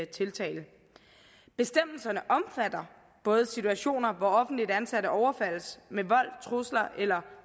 tiltale bestemmelserne omfatter både situationer hvor offentligt ansatte overfaldes med vold trusler eller